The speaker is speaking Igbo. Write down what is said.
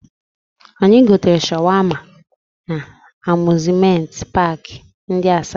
Anyị gotere shawama na Amuzmenti paakị ndị Asaba